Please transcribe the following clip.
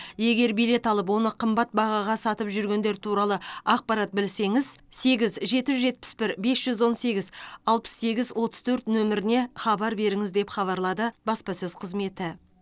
егер билет алып оны қымбат бағаға сатып жүргендер туралы ақпарат білсеңіз сегіз жеті жүз жетпіс бір бес жүз он сегіз алпыс сегіз отыз төрт нөміріне хабар беріңіз деп хабарлады баспасөз қызметі